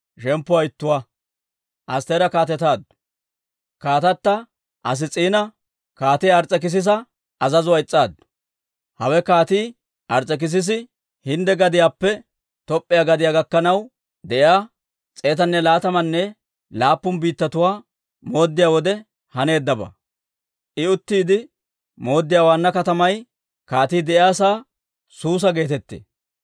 Hawe Kaatii Ars's'ekissisi Hindde gadiyaappe Top'p'iyaa gadiyaa gakkanaw de'iyaa, s'eetanne laatamanne laappun biittatuwaa mooddiyaa wode haneeddabaa. I uttiide mooddiyaa waanna katamay kaatii de'iyaasaa Suusa geetettee.